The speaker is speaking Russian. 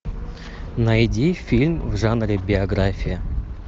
найди фильм в жанре биография